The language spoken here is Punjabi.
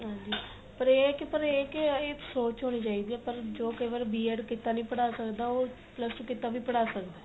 ਹਾਂਜੀ ਪਰ ਇਹ ਕੀ ਪਰ ਇਹ ਹੈ ਕੀ ਇਹ ਸੋਚ ਹੋਣੀ ਚਾਹੀਦੀ ਏ ਪਰ ਜੋ ਕਈ ਵਾਰ B ED ਕੀਤਾ ਨੀ ਪੜਾ ਸਕਦਾ ਉਹ plus two ਕੀਤਾ ਵੀ ਪੜਾ ਸਕਦਾ